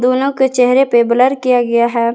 दोनों के चेहरे पे ब्लर किया गया है।